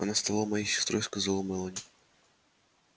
она стала моей сестрой сказала мелани